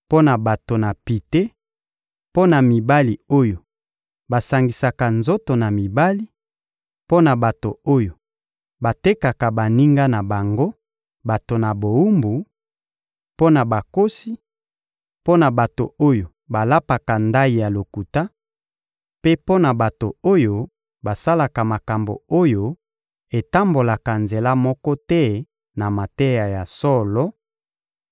mpo na bato na pite, mpo na mibali oyo basangisaka nzoto na mibali, mpo na bato oyo batekaka baninga na bango bato na bowumbu, mpo na bakosi, mpo na bato oyo balapaka ndayi ya lokuta, mpe mpo na bato oyo basalaka makambo oyo etambolaka nzela moko te na mateya ya solo,